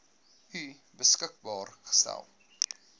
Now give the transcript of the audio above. u beskikbaar gestel